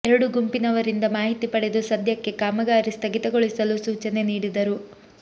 ಎರಡು ಗುಂಪಿನವರಿಂದ ಮಾಹಿತಿ ಪಡೆದು ಸದ್ಯಕ್ಕೆ ಕಾಮಗಾರಿ ಸ್ಥಗಿತಗೊಳಿಸಲು ಸೂಚನೆ ನೀಡಿದರು